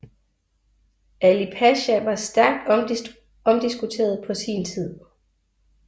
Ali Pasha var stærkt omdiskuteret på sin tid